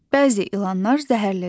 Bəzi ilanlar zəhərlidir.